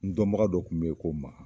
N dɔnbaga dɔ kun be yen ko ma